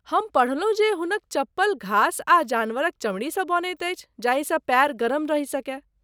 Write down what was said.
हम पढ़लहुँ जे हुनक चप्पल घास आ जानवरक चमड़ीसँ बनैत अछि जाहिसँ पाएर गरम रहि सकय।